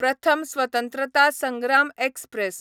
प्रथम स्वतंत्रता संग्राम एक्सप्रॅस